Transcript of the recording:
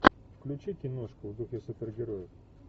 включи киношку в духе супергероев